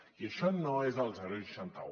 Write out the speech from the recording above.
i això no és el seixanta un